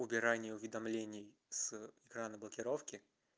убирание уведомления с экрана блокировки